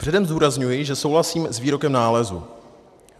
Předem zdůrazňuji, že souhlasím s výrokem nálezu.